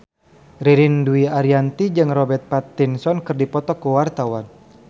Ririn Dwi Ariyanti jeung Robert Pattinson keur dipoto ku wartawan